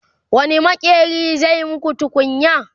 wani maƙeri zai maku tukunya?